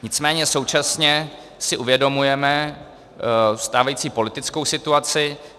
Nicméně současně si uvědomujeme stávající politickou situaci.